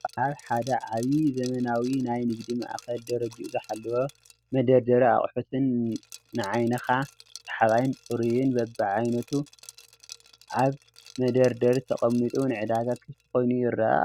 ኣብ ሓደ ዓብይ ዘመናዊ ናይ ንግዲ ማእኸል ደረጃኡ ዘሓለወ መደደሪ ኣቆሑትን ንዓይንኻ ሰሓባይን ፁሩይን በቡ ዓይነቱ ኣብቢ መደርደሪ ተቀሚጡ ንዕዳጋ ክፍቲ ኮይኑ ይረኣይ ኣሎ::